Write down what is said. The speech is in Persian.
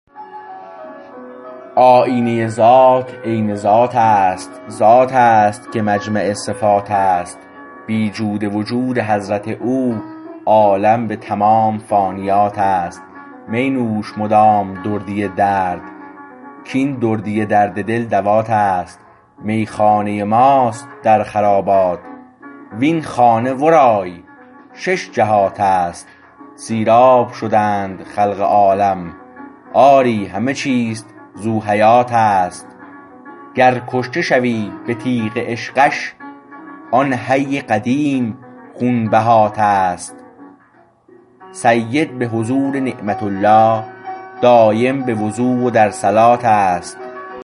آیینه ذات عین ذات است ذات است که مجمع صفات است بی جود وجود حضرت او عالم به تمام فانیات است می نوش مدام دردی درد کاین دردی درد دل دوات است میخانه ما است در خرابات و این خانه ورای شش جهات است سیراب شدند خلق عالم آری همه چیز ذو حیات است گر کشته شوی به تیغ عشقش آن حی قدیم خونبهات است سید به حضور نعمت الله دایم به وضو و در صلات است